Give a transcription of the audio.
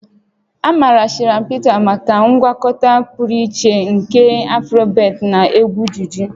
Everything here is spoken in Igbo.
A maara Shina Peters maka ngwakọta pụrụ iche nke Afribeat na egwu juju